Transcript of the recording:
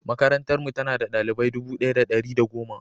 Makarantarmu, tana da ɗalibai dubu ɗaya da ɗari biyu da goma.